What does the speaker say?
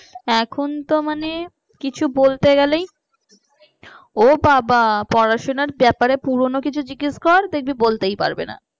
এখনতো মানে কিছু বলতে গেলে ও বাবা পড়াশোনার ব্যাপারে পুরনো কিছু জিজ্ঞেস কর দেখবি বলতেই পারবে না।